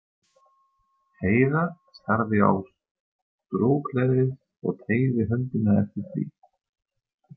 Heiða starði á strokleðrið og teygði höndina eftir því.